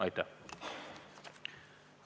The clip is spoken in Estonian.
Aitäh!